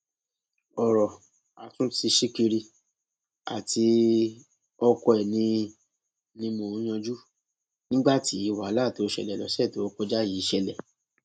ọrọ àtúntí ṣìkìrì àti ọkọ ẹ ni ni mò ń yanjú nígbà tí wàhálà tó ṣẹlẹ lọsẹ tó kọjá yìí ṣẹlẹ